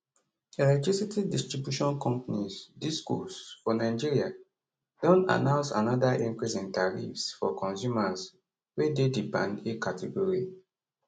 electricity distribution companies discos for nigeria don announce anoda increase in tariffs for consumers wey dey di band a category